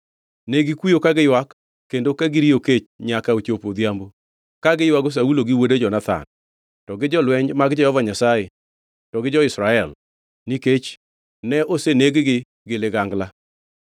Negikuyo ka giywak kendo ka giriyo kech nyaka ochopo odhiambo, ka giywago Saulo gi wuode Jonathan, to gi jolweny mag Jehova Nyasaye to gi jo-Israel, nikech ne oseneg-gi gi ligangla.